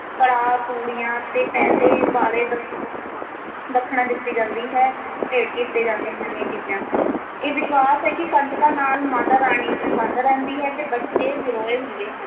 ਕੜਾ ਪੂੜੀਆਂ ਤੇ ਪੈਸੇ ਵਾਲੇ ਦਖ~ ਦੱਖਣ ਦਿੱਤੀ ਜਾਂਦੀ ਹੈ ਭੇਂਟ ਕੀਤੇ ਜਾਂਦੇ ਹਨ ਇਹ ਚੀਜਾਂ ਇਹ ਵਿਸ਼ਵਾਸ ਹੈ ਕਿ ਕੰਜਕਾਂ ਨਾਲ ਮਾਤਾ ਰਾਣੀ ਪ੍ਰਸੰਨ ਰਹਿੰਦੀ ਹੈ ਤੇ ਬੱਚੇ ਨਿਰੋਏ ਹੁੰਦੇ ਹਨ